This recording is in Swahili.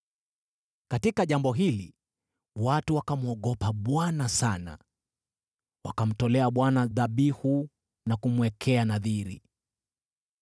Katika jambo hili watu wakamwogopa Bwana sana, wakamtolea Bwana dhabihu na kumwekea nadhiri.